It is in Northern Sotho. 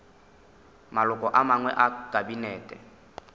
maloko a mangwe a kabinete